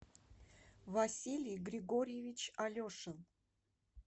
василий григорьевич алешин